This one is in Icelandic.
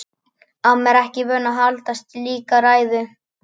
Amma er ekki vön að halda slíka ræðu.